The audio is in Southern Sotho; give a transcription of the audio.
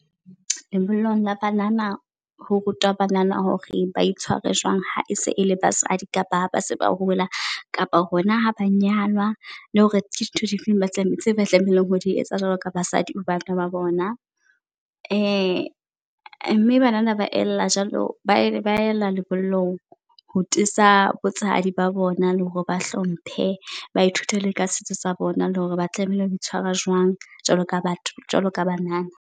Lebollong la banana ho rutwa banana hore ba itshware jwang ha e se e le basadi kapa ha ba se ba hola kapo hona ha ba nyalwa. Le hore dintho di feng ba tse tlamehileng ho di etsa jwalo ka basadi ho banna ba bona. Mme banana ba ela jwalo ba e ba ela lebollong ho tiisa botshehadi ba bona le hore ba hlomphe. Ba ithute le ka setso sa bona le hore ba tlamehile ho tshwara jwang jwalo ka batho jwalo ka banana.